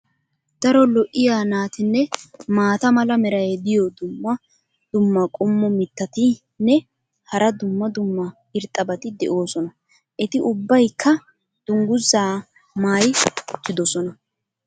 Daro lo''iya naatinne maata mala meray diyo dumma dumma qommo mitattinne hara dumma dumma irxxabati de'oosona. eti ubaykka dangguzaa maayi uttidosona.